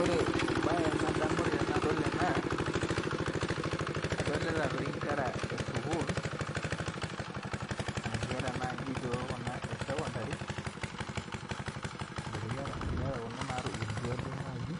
Ore embae nadamu tanadol ena adolta nkera esukul nkera nai kuna esekondari nkera natubulutua naii